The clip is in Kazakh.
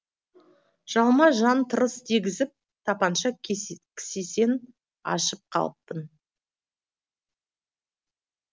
жалма жан тырыс дегізіп тапанша кісесін ашып қалыппын